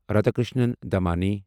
Radhakishan Damani